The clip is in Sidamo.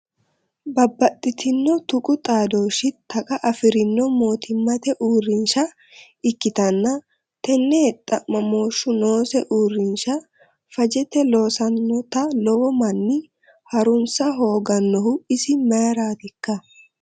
Babbaxxitino tuqu xadooshi taqa afirino mootimmate uurrinsha ikkittanna tene xa'mamoshu noose uurrinsha fajete loosanotta lowo manni harunsa hooganohu isi mayratikka?